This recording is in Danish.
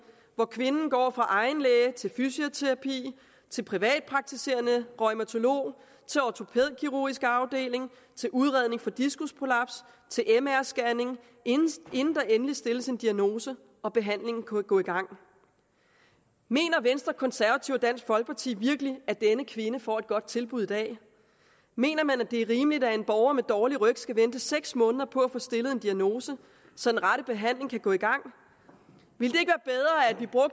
hvor kvinden går fra egen læge til fysioterapi til privatpraktiserende reumatolog til ortopædkirurgisk afdeling til udredning for diskusprolaps til mr scanning inden der endelig stilles en diagnose og behandlingen kan gå i gang mener venstre konservative og dansk folkeparti virkelig at denne kvinde får et godt tilbud i dag mener man at det er rimeligt at en borger med dårlig ryg skal vente seks måneder på at få stillet en diagnose så den rette behandling kan gå i gang ville